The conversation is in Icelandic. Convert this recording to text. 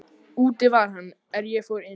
Úti var hann er ég fór inn.